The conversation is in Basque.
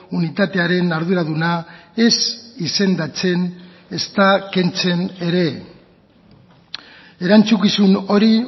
unitatearen arduraduna ez izendatzen ezta kentzen ere erantzukizun hori